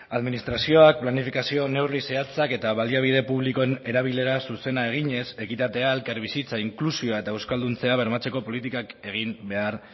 administrazioak planifikazio neurri zehatzak eta baliabide publikoen erabilera zuzena eginez ekitatea elkarbizitza inklusioa eta euskalduntzea bermatzeko politikak egin behar